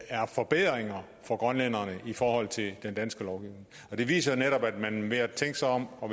er forbedringer for grønlænderne i forhold til den danske lovgivning det viser netop at man ved at tænke sig om og